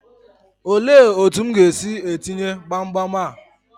Olee otu m ga-esi etinye gbamgbam a?